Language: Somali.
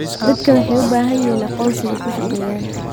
Dadku waxay u baahan yihiin aqoonsi ay ku shaqeeyaan.